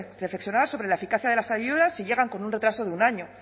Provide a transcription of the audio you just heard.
reflexionar sobre la eficacia de las ayudas si llegan con un retraso de un año